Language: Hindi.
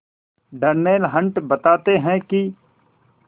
डर्नेल हंट बताते हैं कि